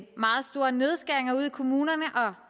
meget store nedskæringer ude i kommunerne